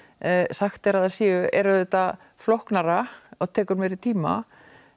sagt er að séu er auðvitað flóknara og tekur meiri tíma